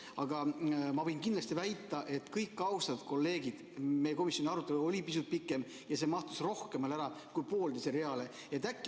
Aga ma võin kindlasti väita, kõik austatud kolleegid, et meie komisjoni arutelu oli pisut pikem ja see mahtus rohkemale kui pooleteisele reale.